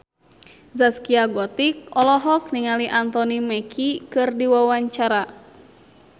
Zaskia Gotik olohok ningali Anthony Mackie keur diwawancara